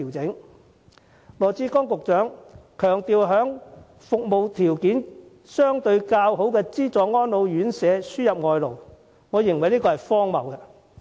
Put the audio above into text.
局長羅致光強調，要為服務條件相對較好的資助安老院舍輸入外勞，我認為是荒謬之舉。